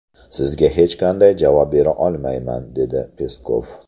Sizga hech qanday javob bera olmayman”, dedi Peskov.